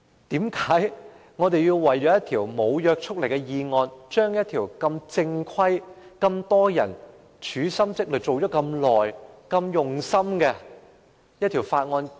為何我們要為了一項無約束力的議案，擱置一項眾人用心研究已久的正規法案？